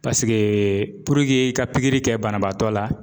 Paseke i ka kɛ banabaatɔ la